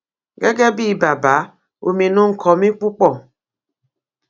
gẹgẹ bíi bàbá ominú ń kọ mi púpọ